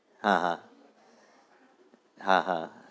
હા હા